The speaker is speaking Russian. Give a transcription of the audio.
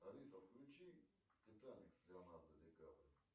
алиса включи титаник с леонардо ди каприо